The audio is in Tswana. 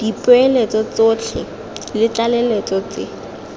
dipoeletso tsotlhe le ditlaleletso tse